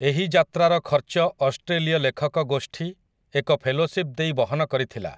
ଏହି ଯାତ୍ରାର ଖର୍ଚ୍ଚ ଅଷ୍ଟ୍ରେଲୀୟ ଲେଖକ ଗୋଷ୍ଠୀ ଏକ ଫେଲୋଶିପ୍ ଦେଇ ବହନ କରିଥିଲା ।